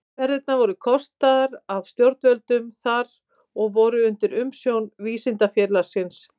Ferðirnar voru kostaðar af stjórnvöldum þar og voru undir umsjón Vísindafélagsins.